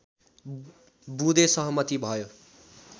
बुँदे सहमति भयो